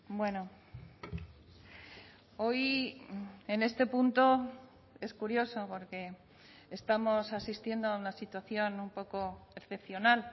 bueno hoy en este punto es curioso porque estamos asistiendo a una situación un poco excepcional